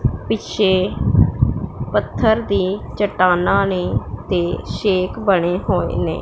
ਪਿੱਛੇ ਪੱਥਰ ਦੀ ਚਟਾਨਾਂ ਨੇ ਤੇ ਸ਼ੇਕ ਬਣੇ ਹੋਣੇ ਨੇ।